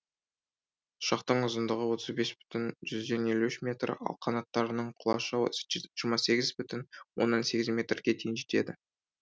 ұшақтың ұзындығы отыз бет бүтін жүзден елу үш метр ал қанаттарының құлашы жиырма сегіз бүтін оннан сегіз метрге дейін жетеді